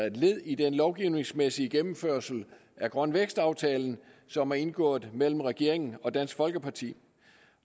et led i den lovgivningsmæssige gennemførelse af grøn vækst aftalen som er indgået mellem regeringen og dansk folkeparti